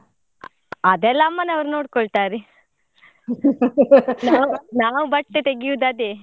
ಅ~ ಅದೆಲ್ಲಾ ಅಮ್ಮನವರು ನೋಡ್ಕೊಳ್ತಾರೆ. ನಾವು ನಾವು ಬಟ್ಟೆ ತೆಗಿಯುದು ಅದೇ.